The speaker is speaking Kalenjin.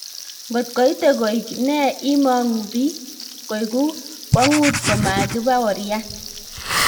Ngot koite koik ne imong'u biik, koigu kwong'ut komakibaorian